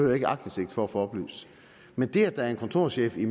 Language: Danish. jeg ikke aktindsigt for at få oplyst men det at der er en kontorchef i